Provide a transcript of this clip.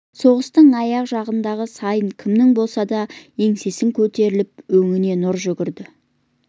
соғыстың аяғы жақындаған сайын кімнің болса да еңсесі көтеріліп өңіне нұр жүгірді